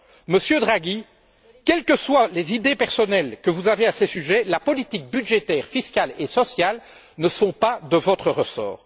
Monsieur Draghi, quelles que soient les idées personnelles que vous avez à ces sujets, les politiques budgétaire, fiscale et sociale ne sont pas de votre ressort.